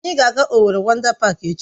Anyị ga-aga Owerri Wọndá Páák echi